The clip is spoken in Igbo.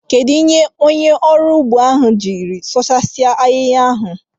Kedụ ihe onye ọrụ ugbo ahụ jiri sụchaa ahịhịa ahụ?